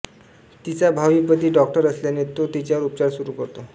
तिचा भावी पती डॉक्टर असल्याने तो तिच्यावर उपचार सुरू करतो